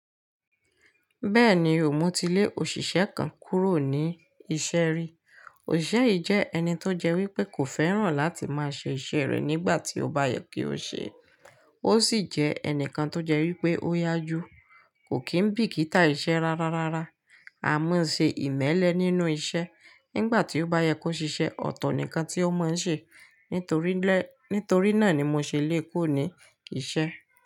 Bẹ́ẹ̀ni, mo ti lé òṣìṣẹ́ kan kúrò ní iṣẹ́ rí. Òṣìṣẹ́ yìí jẹ́ ẹni tó jẹ́ wípé kò fẹ́ràn láti máa ṣe iṣẹ́ rẹ̀ nígbà tí ó bá yẹ kí ó ṣe é. Ó sì jẹ́ ẹnìkan tó jẹ́ wípé ó yá jù, kò kí ń bìkítà iṣẹ́ rárá rárá. A ma ṣe ìmẹ́lẹ nínú iṣẹ́. Nígbà tí ó bá yẹ kó ṣe iṣẹ́, ọ̀tọ̀ nìkan tí ó máa ń ṣe. Nítorí ilé, nítorí náà ni mo ṣe lé e kuo ni iṣẹ́.